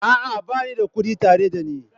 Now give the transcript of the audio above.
A'a, ba ni da kuɗi tare da ni.